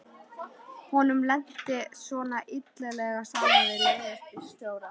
Honum lenti svona illilega saman við leigubílstjóra.